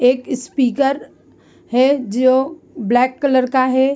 एक स्पीकर है जो ब्लैक कलर का है।